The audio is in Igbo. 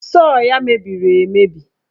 Sọọ ya mebiri emebi.